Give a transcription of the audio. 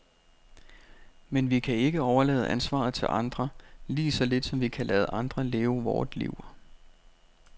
Men vi kan ikke overlade ansvaret til andre, lige så lidt som vi kan lade andre leve vort liv.